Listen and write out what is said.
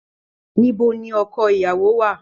Níbo ní ọkọ ìyàwó wà?